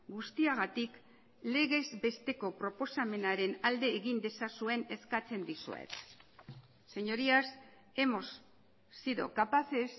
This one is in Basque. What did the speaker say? guztiagatik legez besteko proposamenaren alde egin dezazuen eskatzen dizuet señorías hemos sido capaces